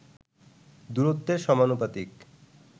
দূরত্বের সমানুপাতিক